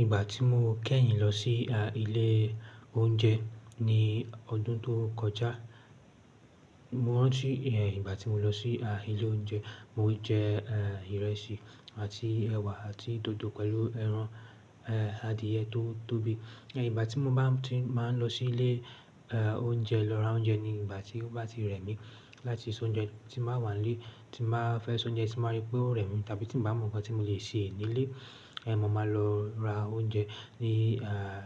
Ìgbà tí mo kẹ́yìn lọ sí ilé oúnjẹ ní ọdún tó kọjá, mo rántí ìgbà tí mo lọ sí ilé oúnjẹ, mo jẹ ìrẹsì àti ẹ̀wà àti dòdò pẹ̀lú ẹran adìẹ tó tóbi. Ìgbà tí mo bá ti máa n lọ sí ilé oúnjẹ lọ ra oúnjẹ ni ìgbà tí ó bá ti rẹ̀ mí láti sọ oúnjẹ tí máa wà nílé, tí máa fẹ́ sọ oúnjẹ tí máa rí pé ó rẹ̀ mí, tàbí tí mo bà mọ nǹkan tí mo lè sè nílé, mo máa lọ ra oúnjẹ ní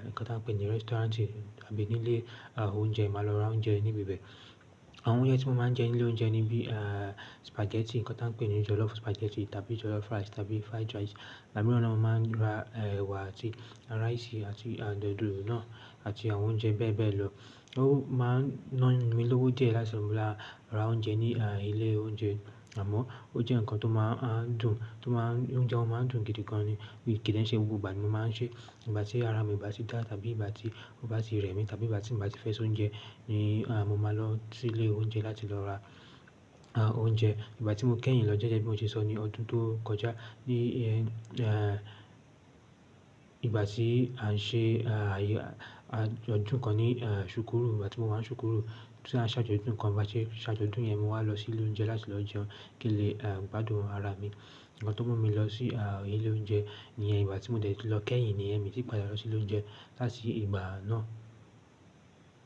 nǹkan tí wọ́n pè ní restaurant tàbí ní ilé oúnjẹ, màá lọ ra oúnjẹ níbi bẹ́ẹ̀. Àwọn oúnjẹ tí mo máa n jẹ ní ilé oúnjẹ ni bí spaghetti, nǹkan tí wọ́n pè ní jollof spaghetti tàbí jollof rice tàbí fried rice. Ìgbà mìíràn ni mo máa n ra ẹ̀wà àti rice àti dòdò náà àti àwọn oúnjẹ bẹ́ẹ̀ bẹ́ẹ̀ lọ. Ó máa ń ná mí lówó díẹ̀ láti rá ra oúnjẹ ní ilé oúnjẹ, àmọ́ ó jẹ́ nǹkan tó máa ń dùn, oúnjẹ máa ń dùn gidi gan ni, kì í dẹ́n ṣe gbogbo ìgbà ni mo máa ń ṣe é. Ìgbà tí ara mi bá ti dá tàbí ìgbà tí ó bá ti rẹ̀ mí tàbí ìgbà tí mo bá ti fẹ́ sọ oúnjẹ ni mo máa lọ sí ilé oúnjẹ láti lọ ra oúnjẹ. Ìgbà tí mo kẹ́yìn lọ jẹ́jẹ́ bí mo ti sọ ní ọdún tó kọjá ní ìgbà tí à ń ṣe àjọ̀dún kan ní súkúrù, ìgbà tí mo wà ní súkúrù tí a ń ṣàjọ̀dún kan, ìgbà tí ṣàjọ̀dún yẹn mo wá lọ sí ilé oúnjẹ láti lọ jẹun kí n lè gbádùn ara mi. Nǹkan tó mú mi lọ sí ilé oúnjẹ ní ìgbà tí mo dẹ̀ tì lọ kẹ́yìn nìyẹn mi ti padà lọ sí ilé oúnjẹ láti ìgbà náà.